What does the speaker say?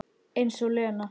Eins og Lena!